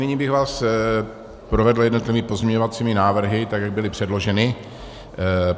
Nyní bych vás provedl jednotlivými pozměňovacími návrhy, tak jak byly předloženy.